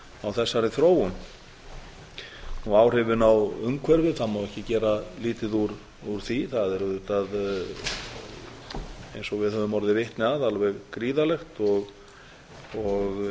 þessari þróun það má ekki gera lítið úr áhrifum á umhverfið það er auðvitað eins og við höfum orðið vitni að alveg gríðarlegt og